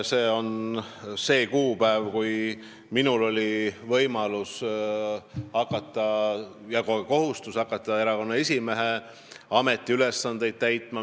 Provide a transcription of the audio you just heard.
See on see kuupäev, millest alates minul on võimalus ja ka kohustus erakonna esimehe ametiülesandeid täita.